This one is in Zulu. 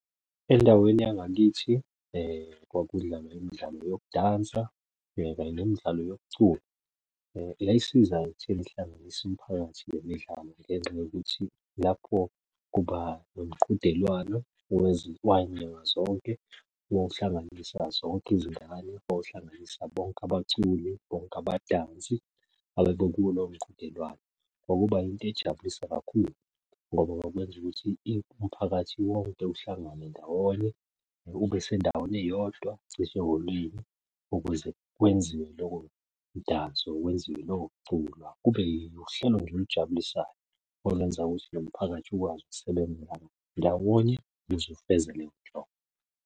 Endaweni yangakithi kwakudlalwa imidlalo yokudansa kanye nemidlalo yokucula. Yayisiza ekutheni ihlanganise imiphakathi nemidlalo ngenxa yokuthi lapho kuba nomqhudelwano wanyanga zonke, wawuhlanganisa zonke izingane, wawuhlanganisa bonke abaculi, bonke abadansi ababekuwo lowo mqhudelwano, Ngokuba yinto ejabulisa kakhulu ngoba kwakwenza ukuthi umphakathi wonke uhlangane ndawonye, ube sendaweni eyodwa ukuze kwenziwe lowo mdanso, kwenziwe lowo mculo, kube uhlelo nje olujabulisayo. Okwenza ukuthi nomphakathi ukwazi ukusebenzelana ndawonye ukuze ufeze leyo nhlobo.